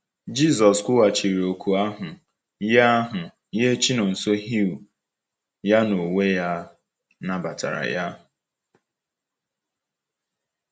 Jisọs kwughachiri oku ahụ nye ahụ nye Chinonsohew, ya onwe ya nabatara ya.